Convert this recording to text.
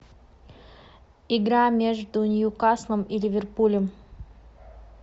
игра между ньюкаслом и ливерпулем